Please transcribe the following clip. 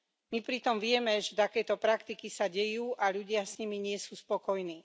My pritom vieme, že takéto praktiky sa dejú a ľudia s nimi nie sú spokojní.